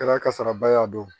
Kɛra kasaraba y'a don